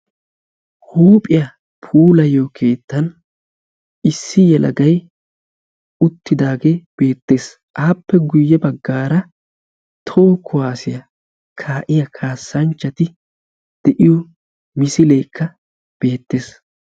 Huuphiya puulayiyo keettan issi yelagayi uttidaagee beettes. Appe guyye baggaara toho kuwaasiya kaa'iya kaassanchchati de'iyo misileekka beettes.